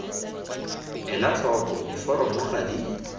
ela tlhoko diforomo ga di